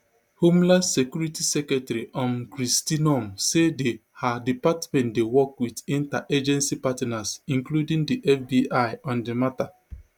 homeland security secretary um kristi noem say di her department dey work wit interagency partners including di fbi on di mata